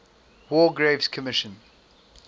war graves commission